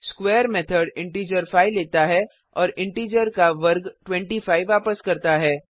square method integer 5 लेता है और इंटिजर का वर्ग 25 वापस करता है